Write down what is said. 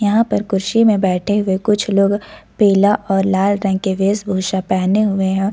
यहां पर कुर्सी मे बैठे हुए कुछ लोग पिला और लाल रंग के वेश भूषा पहने हुए हैं।